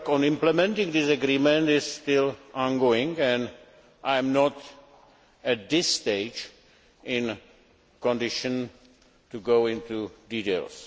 implementing this agreement is still ongoing, and I am not at this stage in a condition to go into details.